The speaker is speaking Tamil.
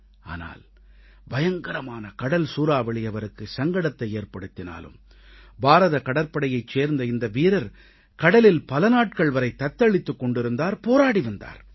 ஆனால் பயங்கரமான கடல் சூறாவளி அவருக்கு சங்கடத்தை ஏற்படுத்தினாலும் பாரத கடற்படையைச் சேர்ந்த இந்த வீரர் கடலில் பல நாட்கள் வரை தத்தளித்துக் கொண்டிருந்தார் போராடி வந்தார்